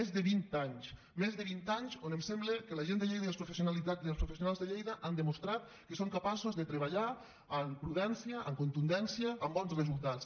més de vint anys més de vint anys on em sembla que la gent de lleida i els professionals de lleida han demostrat que són capaços de treballar amb prudència amb contundència amb bons resultats